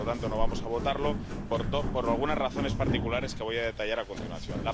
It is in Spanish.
Por lo tanto, no vamos a votarlo por algunas razones particulares que voy a detallar a continuación.